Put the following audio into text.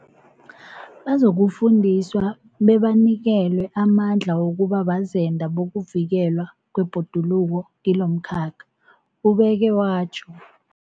Bazokufundiswa bebanikelwe amandla wokuba bazenda bokuvikelwa kwebhoduluko kilomkhakha, ubeke watjho.